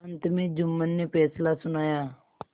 अंत में जुम्मन ने फैसला सुनाया